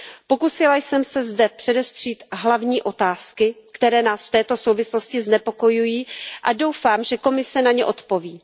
Pokusila jsem se zde předestřít hlavní otázky, které nás v této souvislosti znepokojují, a doufám, že Komise na ně odpoví.